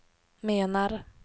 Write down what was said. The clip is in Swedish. menar